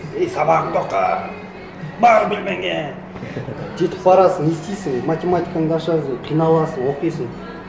ей сабағыңды оқы бар бөлмеңе жетіп барасың не істейсің математикаңды ашасың қиналасың оқисың